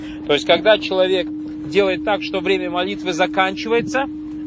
то есть когда человек делает так что время молитвы заканчивается